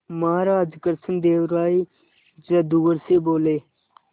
महाराज कृष्णदेव राय जादूगर से बोले